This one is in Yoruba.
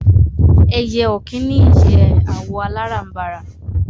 Ẹyẹ ọ̀kín ní ìyẹ́ àwọ̀ aláràǹbarà